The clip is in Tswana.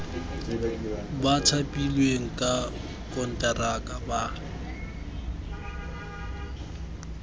ba thapilweng ka konteraka ba